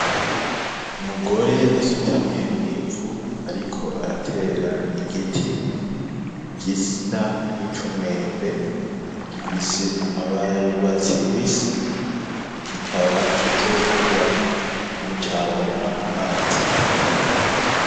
Umugore asutamye mw'ivu ariko aratera igiti gisa nk'icumwembe gifise amabara asa y'urwatsi kikaba kizokura ni caronka amazi akwiye.